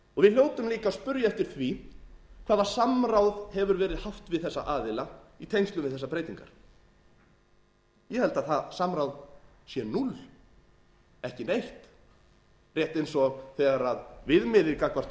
við hljótum líka að spyrja eftir því hvaða samráð hefur verið haft við þessa aðila í tengslum við þessar breytingar ég held að það samráð sé núll ekki neitt rétt eins og þegar viðmiðið gagnvart